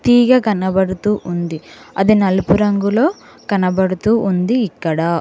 తీగ కనపడుతూ ఉంది అది నలుపు రంగులో కనపడుతూ ఉంది ఇక్కడా.